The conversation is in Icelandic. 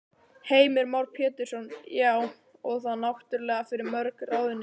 Heimir Már Pétursson: Já, og þá náttúrulega fyrir mörg ráðuneyti?